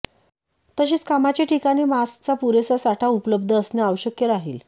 तसेच कामाचे ठिकाणी मास्कचा पुरेसा साठा उपलब्ध असणे आवश्यक राहील